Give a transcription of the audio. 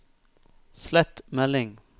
slett melding